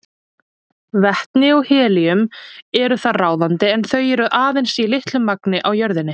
Vetni og helíum eru þar ráðandi en þau eru aðeins í litlu magni á jörðinni.